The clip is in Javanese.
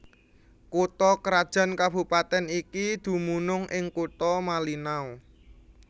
Kutha krajan kabupatèn iki dumunung ing Kutha Malinau